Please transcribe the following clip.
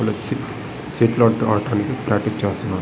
ఇక్కడ సెటిల్ ఆట ఆడడానికి ప్రాక్టీస్ చేస్తున్నారు.